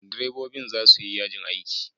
Direbobin za su yi yajin aiki.